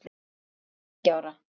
Ég var tveggja ára.